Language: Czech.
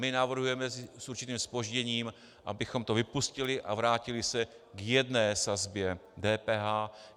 My navrhujeme s určitým zpožděním, abychom to vypustili a vrátili se k jedné sazbě DPH.